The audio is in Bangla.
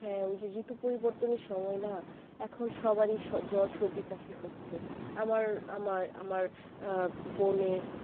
হ্যাঁ ওই যে ঋতু পরিবর্তনের সময় না তখন সবারই জোর সর্দি কাশি হচ্ছে আমার আমার আমার আহ বোনের